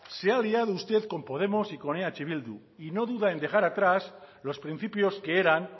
se ha liado usted con podemos y eh bildu y no duda en dejar atrás los principios que eran